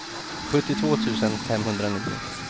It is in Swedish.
sjuttiotvå tusen femhundranio